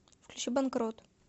включи банкрот